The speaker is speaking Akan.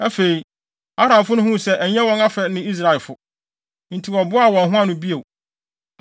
Afei, Aramfo no huu sɛ ɛnyɛ wɔn afɛ ne Israelfo. Enti wɔboaa wɔn ho ano bio.